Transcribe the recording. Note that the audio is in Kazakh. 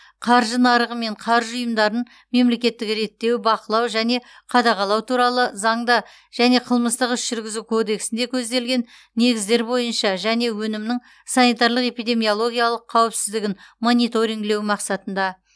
қаржы нарығы мен қаржы ұйымдарын мемлекеттік реттеу бақылау және қадағалау туралы заңда және қылмыстық іс жүргізу кодексінде көзделген негіздер бойынша және өнімнің санитарлық эпидемиологиялық қауіпсіздігін мониторингілеу мақсатында